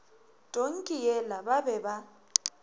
tonki yela ba be ba